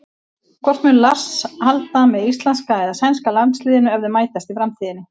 Hvort mun Lars halda með íslenska eða sænska landsliðinu ef þau mætast í framtíðinni?